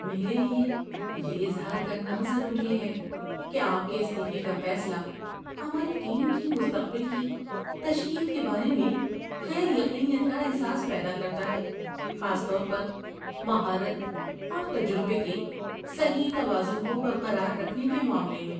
‏میرے لئے یہ اظہار کرنا ضروری ہے کہ آپ کے استعفے کا فیصلہ ہماری ٹیم کی مستقبل کی تشکیل کے بارے میں غیر یقینیت کا احساس پیدا کرتا ہے، خاص طور پر مہارت اور تجربے کے صحیح توازن کو برقرار رکھنے کے معاملے میں۔